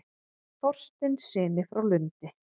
Þorsteinssyni frá Lundi.